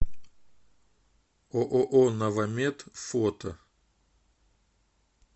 ооо новомед фото